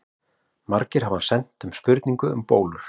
Margir hafa sent inn spurningu um bólur.